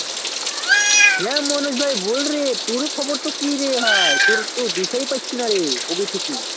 হ্যাঁ Manoj ভাই বলরে তোর খবর তো কিরে ভাই তোর তো দেখাই পাচ্ছি নারে কবে থেকে